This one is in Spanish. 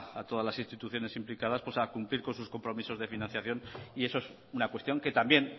a todas las instituciones implicadas a cumplir con sus compromisos de financiación eso es una cuestión que también